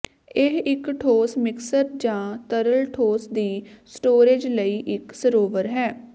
ਇਹ ਇੱਕ ਠੋਸ ਮਿਕਸਰ ਜ ਤਰਲ ਠੋਸ ਦੀ ਸਟੋਰੇਜ਼ ਲਈ ਇੱਕ ਸਰੋਵਰ ਹੈ